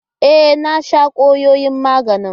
E, na sha kwayoyin magani.